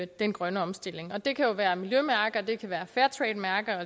den grønne omstilling det kan jo være miljømærker fairtrademærker